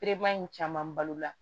in caman balo la